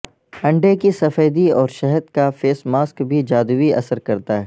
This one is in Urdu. انڈے کی سفیدی اور شہد کا فیس ماسک بھی جادوئی اثر کرتا ہے